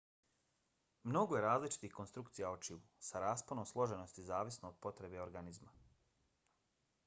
mnogo je različitih konstrukcija očiju sa rasponom složenosti zavisno od potreba organizma